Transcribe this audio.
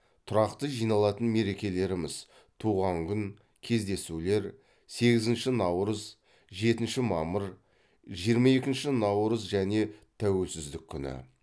тұрақты жиналатын мерекелеріміз туған күн кездесулер сегізінші наурыз жетінші мамыр жиырма екінші наурыз және тәуелсіздік күні